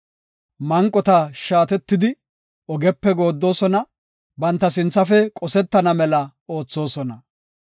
Manqota shaatetidi ogepe gooddosona; banta sinthafe qosetana mela oothosona.